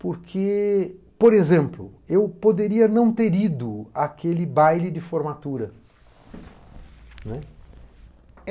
Porque, por exemplo, eu poderia não ter ido àquele baile de formatura.